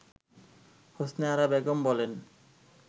হোসনে আরা বেগম বলেন